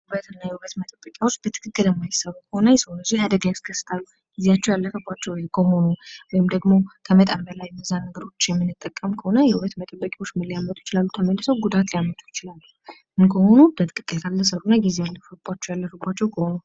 የእና የውበት መጠበቂዎች በትክክል የማይሰሩ ከሆነ የሰው ልጅ አደጋ እስከስታሉው ጊዜያቸው ያለፈባቸው ከሆኑ ወይም ደግሞ ከመጠን በላይ የበዛ ነገሩ ምንጠቀም ከሆነ የውበት መጠበ ይችላሉ? ጉዳት ሊያመጡ ይችላሉ ምንሆኑ? በትክክል ካልተጠቀምና ጊዜአቸው ያለባቸው ከሆኑ።